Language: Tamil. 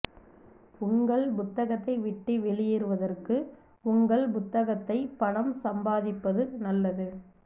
உங்கள் புத்தகத்தை விட்டு வெளியேறுவதற்கு உங்கள் புத்தகத்தை பணம் சம்பாதிப்பது நல்லது